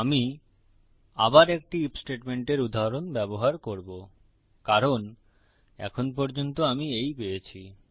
আমি আবার একটি আইএফ স্টেটমেন্টের উদাহরণ ব্যবহার করবো কারণ এখন পর্যন্ত আমি এই পেয়েছি